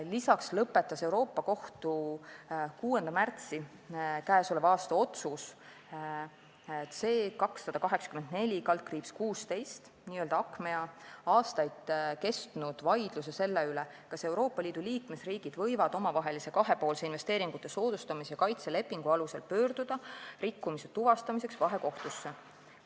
Lisaks lõpetas Euroopa Kohtu 6. märtsi k.a otsus C-284/16, n-ö Achmea, aastaid kestnud vaidluse selle üle, kas Euroopa Liidu liikmesriigid võivad omavahelise kahepoolse investeeringute soodustamise ja kaitse lepingu alusel pöörduda rikkumise tuvastamiseks vahekohtusse.